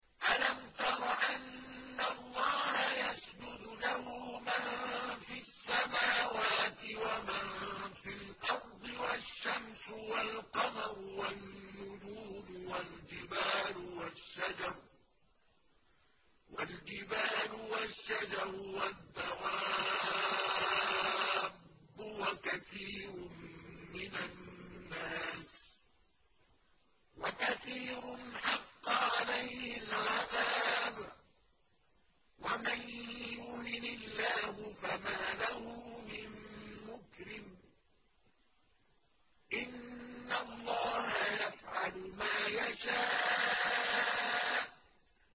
أَلَمْ تَرَ أَنَّ اللَّهَ يَسْجُدُ لَهُ مَن فِي السَّمَاوَاتِ وَمَن فِي الْأَرْضِ وَالشَّمْسُ وَالْقَمَرُ وَالنُّجُومُ وَالْجِبَالُ وَالشَّجَرُ وَالدَّوَابُّ وَكَثِيرٌ مِّنَ النَّاسِ ۖ وَكَثِيرٌ حَقَّ عَلَيْهِ الْعَذَابُ ۗ وَمَن يُهِنِ اللَّهُ فَمَا لَهُ مِن مُّكْرِمٍ ۚ إِنَّ اللَّهَ يَفْعَلُ مَا يَشَاءُ ۩